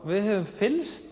við höfum fylgst